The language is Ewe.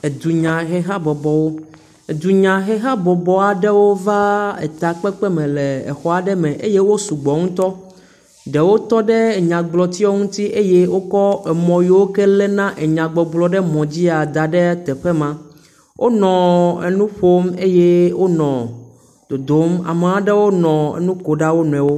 Edunyahehabɔbɔwo. Dunyahehabɔbɔ aɖewo va takpekpeme le exɔ aɖe me eye wo sugbɔ ŋutɔ. Ɖewo tɔ ɖe nyagblɔtia ŋuti eye wokɔ emɔ yiwo ke léna enyagbɔgblɔ ɖe mɔ dzia, da ɖe teƒe ma. Wonɔ enu ƒom eye wonɔ dodom. Ama ɖewo nɔ nu kom ɖa wo nɔewo.